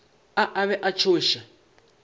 a a be a tšhoša